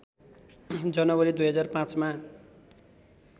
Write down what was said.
जनवरी २००५ मा